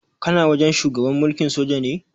Kana wajen shugaban mulkin soja ne?